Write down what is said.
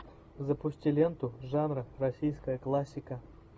запусти ленту жанра российская классика